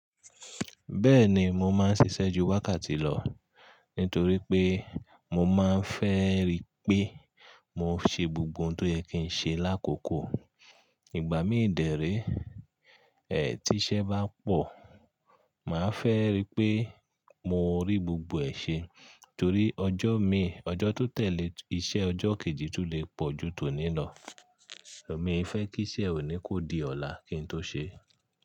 Bẹ́ẹ̀ni, mo máa ń ṣiṣẹ́ ju wákàtí lọ nítorí pé mo máa ń fẹ́ rí pé mo ṣe gbogbo ohun tó yẹ kí n ṣe lákòókò. Ìgbà mí dérè, ẹ̀ tí iṣẹ́ bá pọ̀, màá fẹ́ rí pé mo rí gbogbo ẹ̀ ṣe torí ọjọ́ mi, ọjọ́ tó tẹ̀lé iṣẹ́ ọjọ́ kejì tún lè pọ̀ ju tòní lọ. Mi fẹ́ kí iṣẹ́ òní kó di ọ̀la kí n tó ṣe é.